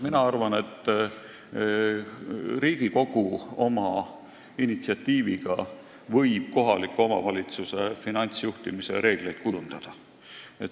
Mina arvan, et Riigikogu oma initsiatiiviga võib kohaliku omavalitsuse finantsjuhtimise reegleid kujundada.